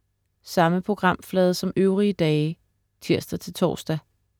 Samme programflade som øvrige dage (tirs-tors)